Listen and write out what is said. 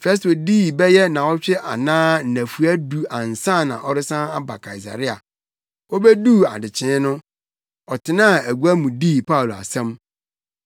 Festo dii bɛyɛ nnaawɔtwe anaa nnafua du ansa na ɔresan aba Kaesarea. Obeduu adekyee no, ɔtenaa agua mu dii Paulo asɛm.